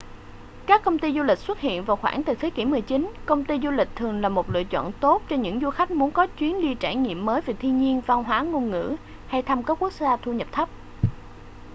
các công ty du lịch xuất hiện vào khoảng từ thế kỷ 19 công ty du lịch thường là một lựa chọn tốt cho những du khách muốn có chuyến đi trải nghiệm mới về thiên nhiên văn hóa ngôn ngữ hay thăm các quốc gia thu nhập thấp